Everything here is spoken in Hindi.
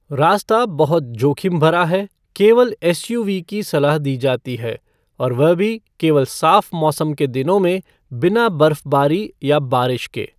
रास्ता बहुत जोखिम भरा है, केवल एसयूवी की सलाह दी जाती है, और वह भी केवल साफ़ मौसम के दिनों में बिना बर्फ़बारी या बारिश के।